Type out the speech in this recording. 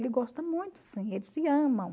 Ele gosta muito sim, eles se amam.